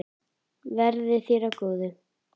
Verði þér að góðu.